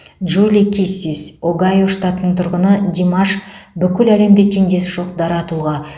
джули киссис огайо штатының тұрғыны димаш бүкіл әлемде теңдесі жоқ дара тұлға